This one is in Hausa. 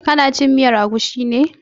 Ka na cin miyar agushi ne?